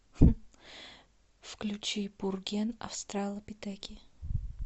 включи пурген австралопитеки